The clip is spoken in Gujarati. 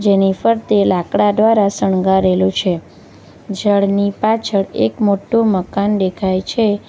જેની ફરતે લાકડા દ્વારા શણગારેલું છે ઝાડની પાછળ એક મોટો મકાન દેખાય છે.